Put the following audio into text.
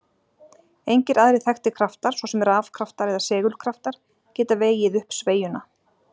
Engir aðrir þekktir kraftar, svo sem rafkraftar eða segulkraftar, geta vegið upp sveigjuna.